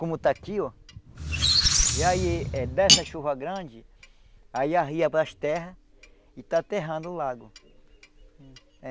Como está aqui, oh. E aí, eh dessa chuva grande, aí arria para as terras e está aterrando o lago.